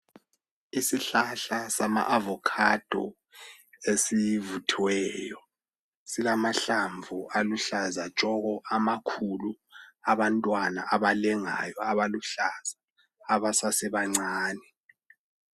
isihlahla sama avocado esivuthiweyo silamahlamvu aluhlaza tshoko amakhulu abantwana abalengayo abaluhlaza absesebancane